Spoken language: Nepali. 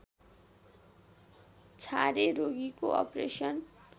छारे रोगीको अपरेसन